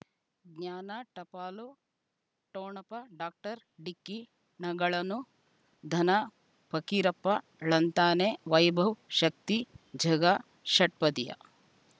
ಜ್ಞಾನ ಟಪಾಲು ಠೊಣಪ ಡಾಕ್ಟರ್ ಢಿಕ್ಕಿ ಣಗಳನು ಧನ ಫಕೀರಪ್ಪ ಳಂತಾನೆ ವೈಭವ್ ಶಕ್ತಿ ಝಗಾ ಷಟ್ಪದಿಯ